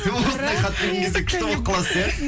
осындай хат келген кезде күшті болып қаласыз иә